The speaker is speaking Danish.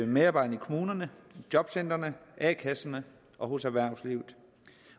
medarbejderne i kommunerne i jobcentrene i a kasserne og hos erhvervslivet